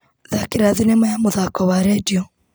Thakira thinema ya mũthako wa wa redio.